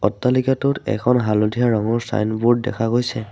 অট্টালিকাটোত এখন হালধীয়া ৰঙৰ ছাইনবোৰ্ড দেখা গৈছে।